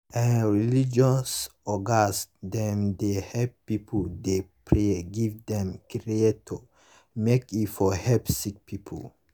eeh religious ogas dem dey helep pipu dey pray give dem creator make e for helep sicki pipu